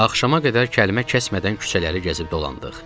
Axşama qədər kəlmə kəsmədən küçələri gəzib dolandıq.